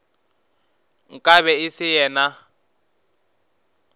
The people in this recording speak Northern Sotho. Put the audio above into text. nka be e se yena